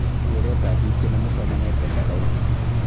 kereetab biik che nomu somanet eng county